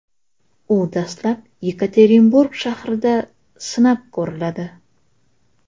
U dastlab Yekaterinburg shahrida sinab ko‘riladi.